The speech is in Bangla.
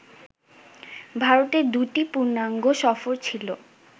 ভারতের দুটি পূর্ণাঙ্গ সফর ছিল